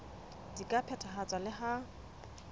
di ka phethahatswa le ha